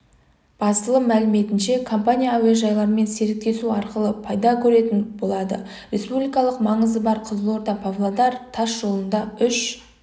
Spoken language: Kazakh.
басылым мәліметінше компания әуежайлармен серіктесу арқылы пайда көретін болады республикалық маңызы бар қызылорда-павлодар тас жолында үш